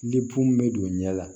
Ni bon bɛ don ɲɛ la